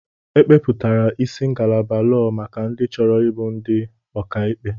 Ekepụtara isi ngalaba lọọ maka ndị chọrọ ịbụ ndị ọkà ikpe.